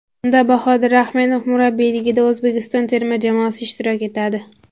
Unda Bahodir Ahmedov murabbiyligida O‘zbekiston terma jamoasi ishtirok etadi.